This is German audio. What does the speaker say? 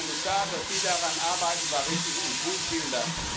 Herr Kommissar, dass Sie daran arbeiten, war richtig und gut, vielen Dank!